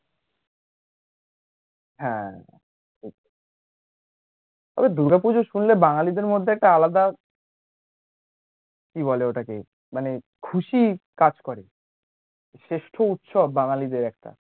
হ্যাঁ আরে দূর্গা পুজো শুনলে বাঙালীদের মধ্যে একটা আলাদা কি বলে ওটাকে মানে খুশি কাজ করে শ্রেষ্ঠ উৎসব বাঙালীদের একটা